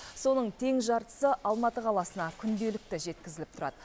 соның тең жартысы алматы қаласына күнделікті жеткізіліп тұрады